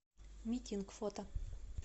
ми кинг фото